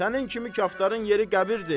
Sənin kimi kaftarın yeri qəbirdir.